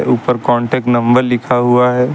ऊपर contact number लिखा हुआ है।